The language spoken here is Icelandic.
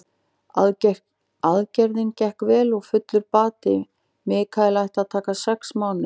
Aðgerðin gekk vel og fullur bati Michael ætti að taka sex mánuði.